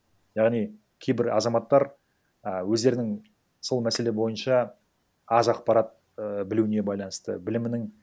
яғни кейбір азаматтар а өздерінің сол мәселе бойынша аз ақпарат і білуіне байланысты білімінің